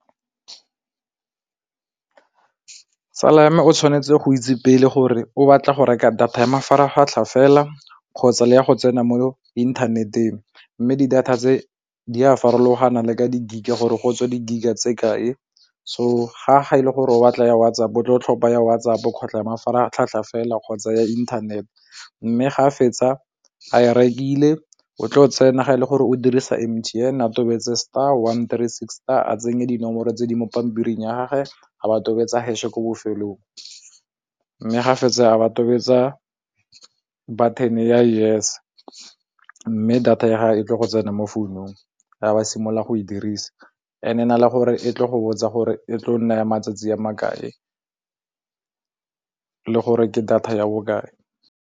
Tsala ya me o tshwanetse go itse pele gore o batla go reka data ya mafaratlhatlha fela kgotsa le ya go tsena mo inthaneteng, mme di data tse di a farologana le ka di-gig gore go tswa di-gig tse kae. So ga e le gore o batla ya WhatsApp-o o tla tlhopha ya WhatsApp-o kgotsa ya mafaratlhatlha fela kgotsa ya inthanete, mme ga a fetsa a e rekile o tlo tsena ga e le gore o dirisa M_T_N a totobetse star one three sixty a tsenye dinomoro tse di mo pampiring ya gage a ba tobetsa hash ko bofelong, mme ga fetsa a ba tobetsa button ya yes mme data ya gage e tle go tsena mo founong a ba simolola go e dirisa and-e e na le gore e tlo go botsa gore e tlile go nna matsatsi a makae le gore ke data ya bokae.